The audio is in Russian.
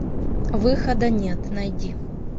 выхода нет найди